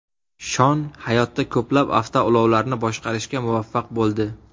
Shon hayotda ko‘plab avtoulovlarni boshqarishga muvaffaq bo‘ldi.